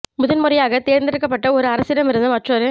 முதன்முறையாக தேர்ந்தெடுக்கப்பட்ட ஒரு அரசிடமிருந்து மற்றொரு